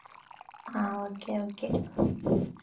ah okay okay